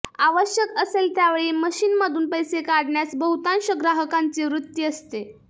आवश्यक असेल त्यावेळी मशीनमधून पैसे काढण्यास बहुतांश ग्राहकांची वृत्ती असते